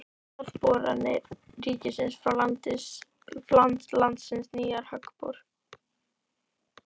Jarðboranir ríkisins fá til landsins nýjan höggbor